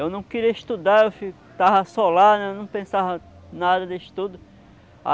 Eu não queria estudar, eu ficava só lá, eu não pensava nada de estudo.